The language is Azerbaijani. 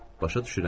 Başa düşürəm.